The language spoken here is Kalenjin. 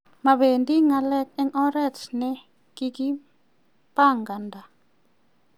mapendi ngalek eng oret ne kikipanganda